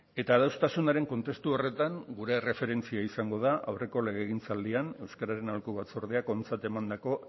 eta adostasunaren kontestu horretan gure erreferentzia izango da aurreko legegintzaldian euskararen aholku batzordeak ontzat emandako